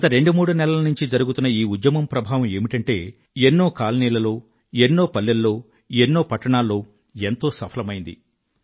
గత రెండు మూడు నెలల నుండీ జరుగుతున్న ఈ ఉద్యమం ప్రభావం ఏమిటంటే ఎన్నో కాలనీలలో ఎన్నో పల్లెల్లో ఎన్నో పట్టణాల్లో ఎంతో సఫలమైంది